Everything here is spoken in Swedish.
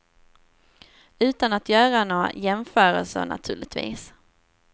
Utan att göra några jämförelser naturligtvis.